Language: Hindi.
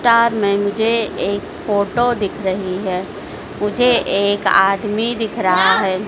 कार में मुझे एक फोटो दिख रही है मुझे एक आदमी दिख रहा है।